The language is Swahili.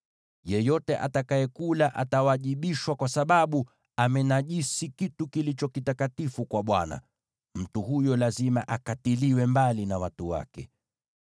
Yeyote atakayekula atawajibishwa, kwa sababu amenajisi kitu kilicho kitakatifu kwa Bwana ; mtu huyo lazima akatiliwe mbali na watu wake.